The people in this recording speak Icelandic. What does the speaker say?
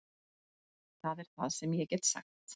Það er það sem ég get sagt